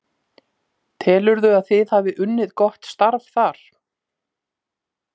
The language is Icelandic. Telurðu að þið hafi unnið gott starf þar?